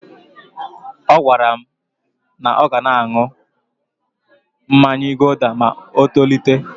Ọ gwara m na ọ ga na-aṅụ mmanya guuda ma o tolite.